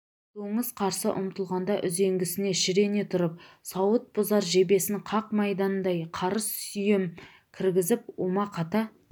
доңыз қарсы ұмтылғанда үзеңгісіне шірене тұрып сауыт бұзар жебесін қақ маңдайдан қарыс сүйем кіргізіп омақата